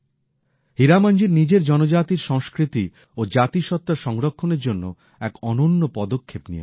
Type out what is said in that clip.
হীরামনজি নিজের জনজাতির সংস্কৃতি ও জাতিসত্ত্বা সংরক্ষণের জন্য এক অনন্য পদক্ষেপ নিয়েছেন